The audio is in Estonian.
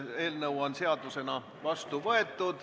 Eelnõu on seadusena vastu võetud.